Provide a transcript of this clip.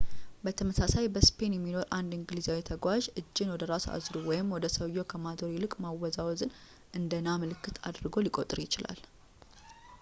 በተመሳሳይ፣ በስፔን የሚኖር አንድ እንግሊዛዊ ተጓዥ እጅን ወደ ራስ አዙሮ ወደ ሰውየው ከማዞር ይልቅ ማወዛወዝን እንደ ና ምልክት አድርጎ ሊቆጥር ይችላል